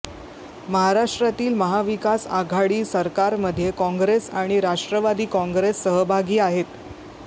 महाराष्ट्रातील महाविकास आघाडी सरकारमध्ये काँग्रेस आणि राष्ट्रवादी काँग्रेस सहभागी आहेत